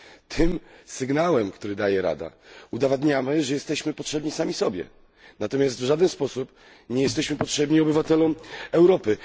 Tym sygnałem, który daje Rada, udowadniamy, że jesteśmy potrzebni sami sobie. Natomiast w żaden sposób nie jesteśmy potrzebni obywatelom Europy.